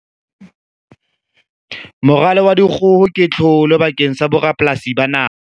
Moralo wa dikgoho ke tlholo bakeng sa borapolasi ba naha.